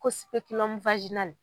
Ko